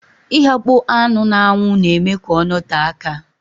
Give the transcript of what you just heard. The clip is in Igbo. Ighakpo anụ na-anwu na-eme ka ọ note aka